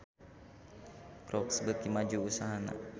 Crocs beuki maju usahana